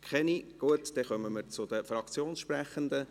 – Gut, dann kommen wir zu den Fraktionssprechenden.